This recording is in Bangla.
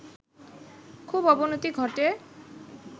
খুব অবনতি ঘটে